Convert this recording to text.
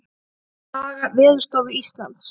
Saga Veðurstofu Íslands.